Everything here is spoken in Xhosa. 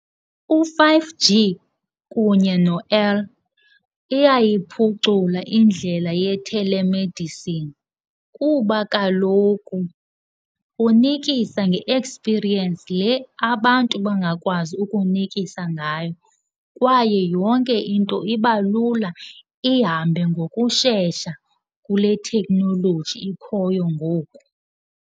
U-five G kunye iyayiphucula indlela yethelemedisini kuba kaloku unikisa nge-ekspiriyensi le abantu bangakwazi ukunikisa ngayo, kwaye yonke into iba lula ihambe ngokushesha kule theknoloji ikhoyo ngoku.